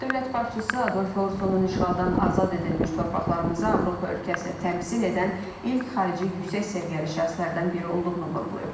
Dövlət başçısı Adolfo Ursonun işğaldan azad edilmiş torpaqlarımıza Avropa ölkəsini təmsil edən ilk xarici yüksək səviyyəli şəxslərdən biri olduğunu vurğulayıb.